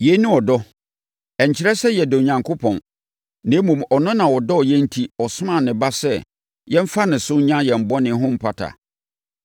Yei ne ɔdɔ. Ɛnkyerɛ sɛ yɛdɔ Onyankopɔn, na mmom, ɔno na ɔdɔ yɛn enti ɔsomaa ne Ba sɛ yɛmfa ne so nya yɛn bɔne ho mpata.